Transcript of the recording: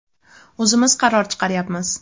O‘zimiz qaror chiqaryapmiz.